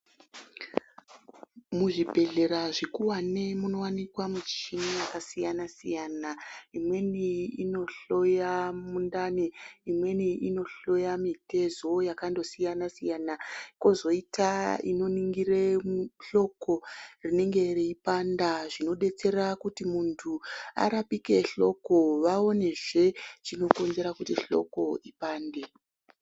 Muzvibhedhlera zvikuvani munovanika michini yakasiyana-siyana. Imweni inohloya mundani, imweni inohloya mitezo yakandosiyana-siyana. Kozoita inoningire muhloko rinenge reipanda zvinobetsera kuti muntu arapike hloko vaonezve chinokonzera kuti hloko ipande.